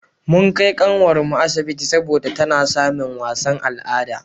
mun Kai kanwar mu asibiti saboda tana samin wasan al'ada